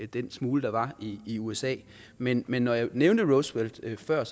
den smule der var i usa men men når jeg nævnte roosevelt før